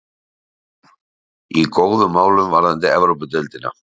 Í góðum málum varðandi Evrópudeildina.